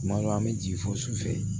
Tuma dɔw an bɛ jigin fo su fɛ